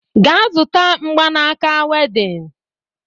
Gaa zụta mgbanaaka wedịn!